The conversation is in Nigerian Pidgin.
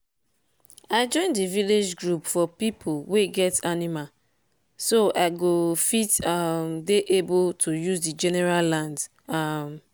i join the village group for pipo wey get animal so i go fit um dey able to use the general land. um